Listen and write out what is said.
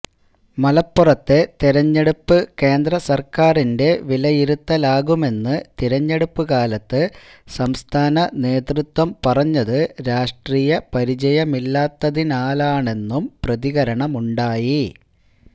മലപ്പുറത്തെ തിരഞ്ഞെടുപ്പ് കേന്ദ്രസര്ക്കാരിന്റെ വിലയിരുത്തലാകുമെന്ന് തിരഞ്ഞെടുപ്പുകാലത്ത് സംസ്ഥാനനേതൃത്വം പറഞ്ഞത് രാഷ്ട്രീയപരിചയമില്ലാത്തതിനാലാണെന്നും പ്രതികരണമുണ്ടായി